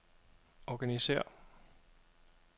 organisér